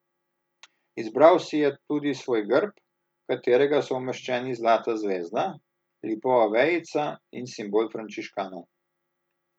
Izbral si je tudi svoj grb, v katerega so umeščeni zlata zvezda, lipova vejica in simbol frančiškanov.